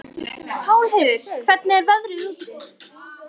Pálheiður, hvernig er veðrið úti?